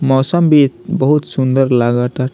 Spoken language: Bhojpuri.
मौसम भी बहुत सूंदर लागता।